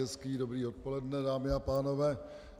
Hezké dobré odpoledne, dámy a pánové.